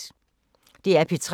DR P3